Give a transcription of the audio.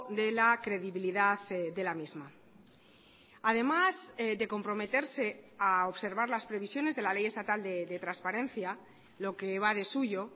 de la credibilidad de la misma además de comprometerse a observar las previsiones de la ley estatal de transparencia lo que va de suyo